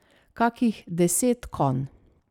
Kakih deset konj.